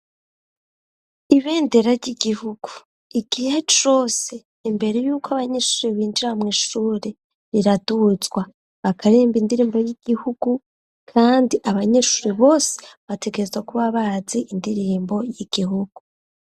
Ibendera ry'igihugu igihe cose imbere yuko abanyeshure binjira mu ishuri biraduzwa bakaririmba indirimbo y'igihugu kandi abanyeshure bose bategereza kuba bazi indirimbo y'igihugu.